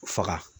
Faga